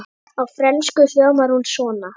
Á frönsku hljómar hún svona